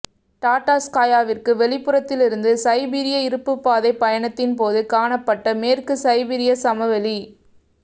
டாடார்ஸ்காயாவிற்கு வெளிப்புறத்திலிருந்து சைபீரிய இருப்புப்பாதைப் பயணத்தின் போது காணப்பட்ட மேற்கு சைபீரியச் சமவெளி